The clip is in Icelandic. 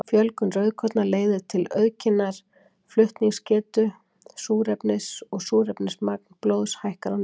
Fjölgun rauðkorna leiðir til aukinnar flutningsgetu súrefnis og súrefnismagn blóðs hækkar á ný.